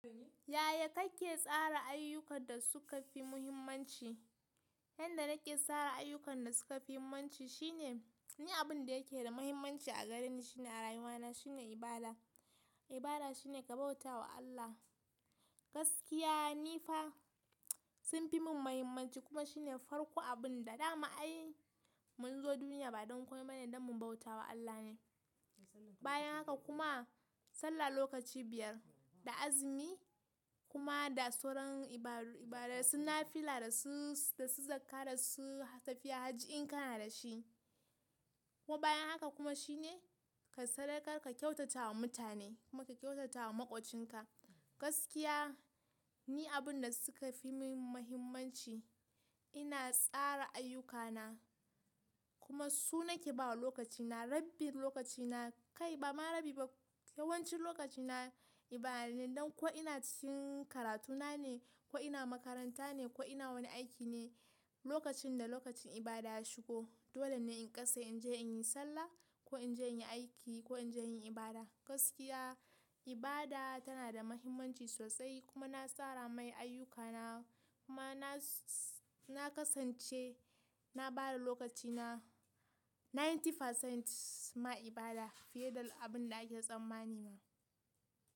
Yaya kake tsara ayyukan da suka fi muhimmanci? Yanda nake tsara ayyukan da suka fi muhimmanci shine, ni abun da yake da muhimmanci a gareni shine a rayuwana shine ibada. Ibada shine ka bauta wa Allah. Gaskiya ni fa sun fi mun muhimmanci kuma shine farko abun da dama ai mun zo duniya ba don komai bane dan mu bauta wa Allah ne. Bayan haka kuma sallah lokaci biyar da azumi kuma da sauran ibadu ibada suna fila da su, da su zakka da su tafiya hajji in kana da shi. Kuma bayan haka kuma shine ka sadakar ka kyautata wa mutane kuma ka kyautata wa maƙocin ka. Gaskiya ni abun da suka fi mun muhimmanci ina tsara ayyukana kuma su nake bawa lokaci na, rabin lokaci na kai bama rabi ba yawancin lokaci na ibada ne don ko ina cikin karatuna ne, ko ina makaranta ne, ko ina wani aiki ne, lokacin da lokacin ibada ya shigo, dole ne in kasa in je in yi sallah ko in je in yi aiki ko in je in yi ibada. Gaskiya ibada tana da muhimmanci sosai kuma na tsara mai ayyukana kuma na, na kasance na bada lokaci na ninety percent ma ibada fiye da abin da ake tsammani ma.